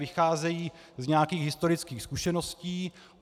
Vycházejí z nějakých historických zkušeností.